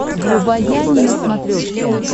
врубай ани на смотрешке